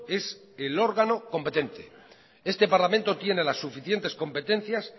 es el órgano competente este parlamento tiene las suficientes competencias